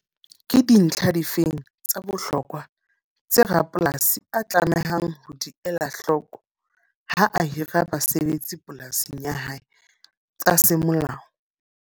Ke dintlha difeng tsa bohlokwa, tse rapolasi a tlamehang ho di ela hloko ha a hira basebetsi polasing ya hae tsa se molao?